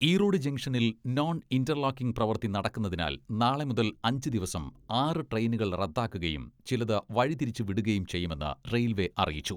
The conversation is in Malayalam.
ഈറോഡ് ജംഗ്ഷനിൽ നോൺ ഇന്റർലോക്കിംഗ് പ്രവൃത്തി നടക്കുന്നതിനാൽ നാളെ മുതൽ അഞ്ചു ദിവസം ആറ് ട്രെയിനുകൾ റദ്ദാക്കുകയും ചിലത് വഴി തിരിച്ചു വിടുകയും ചെയ്യുമെന്ന് റെയിൽവേ അറിയിച്ചു.